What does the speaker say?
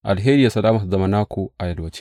Alheri da salama su zama naku a yalwace.